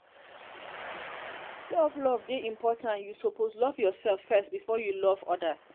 sef love dey important you suppose love yoursef first before you love odas.